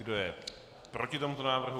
Kdo je proti tomuto návrhu?